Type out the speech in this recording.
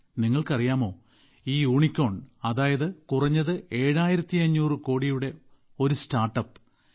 നിങ്ങൾക്കറിയാമോ ഒരു യൂണികോൺ അതായത് കുറഞ്ഞത് ഏഴായിരത്തഞ്ഞൂറ് കോടിയുടെ ഒരു സ്റ്റാർട്ട്അപ്പ്